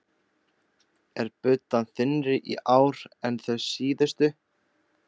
Er buddan þynnri í ár en þau síðustu?